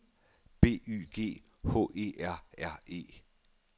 B Y G H E R R E